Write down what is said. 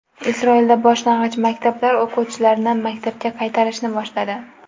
Isroilda boshlang‘ich maktablar o‘quvchilarni maktabga qaytarishni boshladi.